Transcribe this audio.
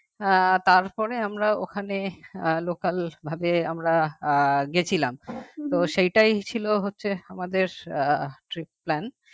আহ তারপরে আমরা ওখানে আহ local ভাবে আমরা আহ গেছিলাম তো সেটাই ছিল হচ্ছে আমাদের আহ trip plan